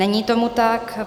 Není tomu tak.